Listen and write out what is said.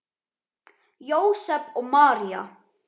Jósep og María